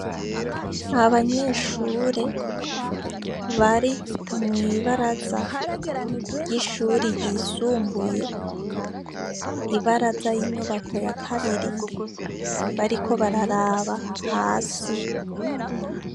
Abanyeshure bari mw'ibaraza ry'ishuri ryisumbuye; Ibaraza z'inyubako yakabiri bariko bararaba hasi.